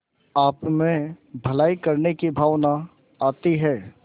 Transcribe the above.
आपमें भलाई करने की भावना आती है